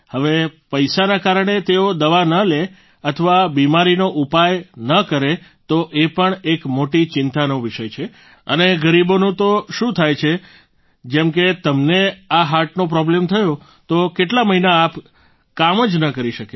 હવે પૈસાના કારણે તેઓ દવા ન લે અથવા બિમારીનો ઉપાય ન કરે તો એ પણ એક મોટી ચિંતાનો વિષય છે અને ગરીબોનું તો શું થાય છે જેમ કે તમને આ હાર્ટનો પ્રોબ્લેમ થયો તો કેટલા મહિના આપ કામ જ ન કરી શક્યા હશો